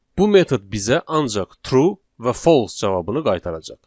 Bu metod bizə ancaq true və false cavabını qaytaracaq.